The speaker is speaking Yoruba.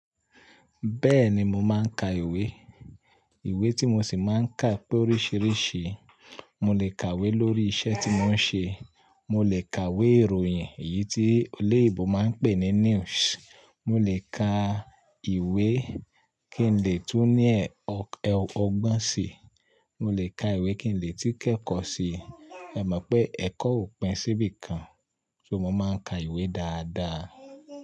Bẹ́ẹ̀ni mo máa ń ka ìwé. Ìwé tí mo sì máa ń kà pẹ́ oríṣiríṣi. Mo lè kàwé lórí iṣẹ́ tí mò ń ṣe, mo lè kàwé ìròyìn èyí tí olè ibo máa ń pè ní news, mo lè ka ìwé kí n lè tún ní ẹ́ ok, eo ọgbọ́n si, mo lè ka ìwé kí n lè tí kẹ́kọ̀ọ́ sí i. E mọ̀ pé ẹ̀kọ́ ò pin sí bí i kan, so mo máa ń ka ìwé dáadáa.